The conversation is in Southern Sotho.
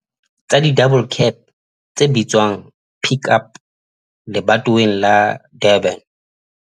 tsa di-double cab tse bitswang Pik Up lebatoweng la Durban.